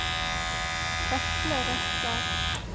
Vetle Røstad